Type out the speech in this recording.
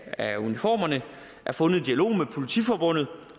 af uniformerne er fundet i dialog med politiforbundet